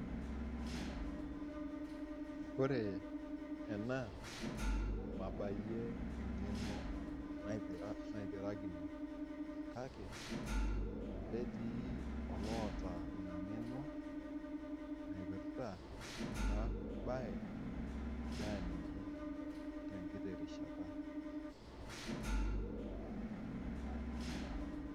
Ore ena mabaiye eng'eno naipirakini kake naba etii iloota ina ing'eno naipirta ena baye inchoo aliki te nkiti kata.